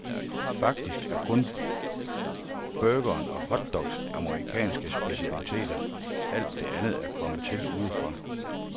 Faktisk er kun burgeren og hotdogs amerikanske specialiteter, alt det andet er kommet til udefra.